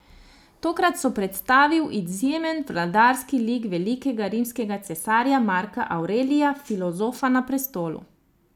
Tokrat so predstavil izjemen vladarski lik velikega rimskega cesarja Marka Avrelija, filozofa na prestolu.